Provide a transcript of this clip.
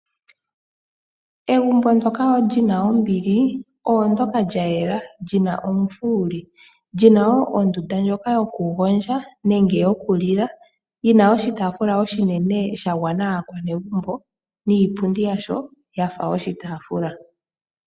Egumbo ndoka li na ombili ondooka lyayela lyi na omufuwuli, lyi na wo ondunda ndjoka yoku gondja nenge yoku lila yi na oshitaafula oshinene sha gwana aakwanegumbo niipundi yasho ya fa oshitaafula.